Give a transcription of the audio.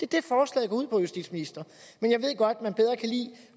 det forslaget går ud på justitsministeren men jeg ved godt at man bedre kan lide